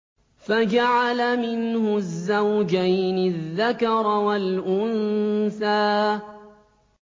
فَجَعَلَ مِنْهُ الزَّوْجَيْنِ الذَّكَرَ وَالْأُنثَىٰ